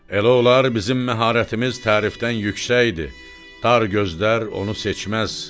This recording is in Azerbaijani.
“Elə olar, bizim məharətimiz tərifdən yüksəkdir, dar gözlər onu seçməz.